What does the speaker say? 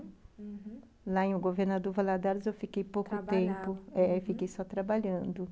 Uhum, lá em Governador Valadares eu fiquei pouco tempo, trabalhava, é, eu fiquei só trabalhando.